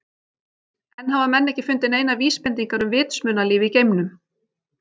Enn hafa menn ekki fundið neinar vísbendingar um vitsmunalíf í geimnum.